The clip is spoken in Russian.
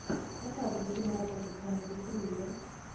показывай киноработу в жанре триллер